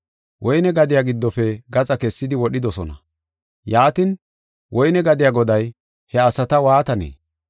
Woyne gadiya giddofe gaxa kessidi wodhidosona. Yaatin, woyne gadiya goday he asata waatanee?